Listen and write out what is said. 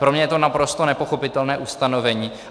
Pro mě je to naprosto nepochopitelné ustanovení.